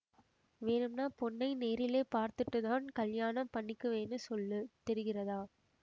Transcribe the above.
வேணும்னா பொண்ணை நேரிலே பார்த்துட்டுத்தான் கல்யாணம் பண்ணிக்குவேன்னு சொல்லு தெரிகிறதா